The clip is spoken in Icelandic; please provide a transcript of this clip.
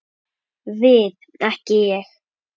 Við ekki Ég.